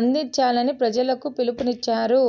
అందించాలని ప్రజలకు పిలుపునిచ్చారు